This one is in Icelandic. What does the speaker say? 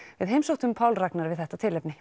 við heimsóttum Pál Ragnar við þetta tilefni